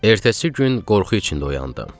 Ertəsi gün qorxu içində oyandım.